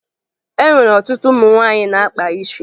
E nwere ọtụtụ ụmụ nwaanyị na-akpa isi